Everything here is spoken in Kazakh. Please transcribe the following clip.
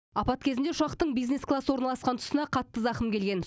апат кезінде ұшақтың бизнес класс орналасқан тұсына қатты зақым келген